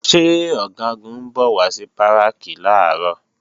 Ṣé Ọ̀gágun ń bọ̀ wá sí Báràkì làárọ̀?